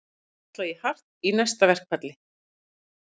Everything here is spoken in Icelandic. Ætla í hart í næsta verkfalli